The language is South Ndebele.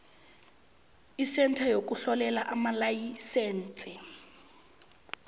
isentha yokuhlolela amalayisense